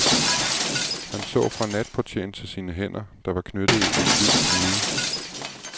Han så fra natportieren til sine hænder, der var knyttede i en hvid knude.